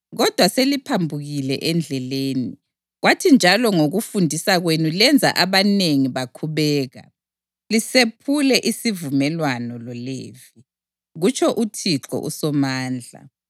Kodwa seliphambukile endleleni, kwathi njalo ngokufundisa kwenu lenza abanengi bakhubeka; lisephule isivumelwano loLevi,” kutsho uThixo uSomandla.